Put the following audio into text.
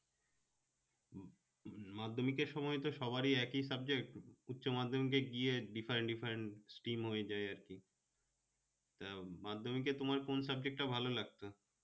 মাধ্যমিকের সময় তো সবারই একি subject উচ্চ-মাধ্যমিকে গিয়ে different different stream হয়ে যায় আরকি আহ মাধ্যমিকে তোমার কোন subject টা ভালো লাগতো?